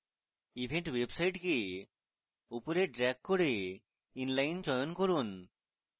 event website কে উপরে drag করে inline চয়ন করুন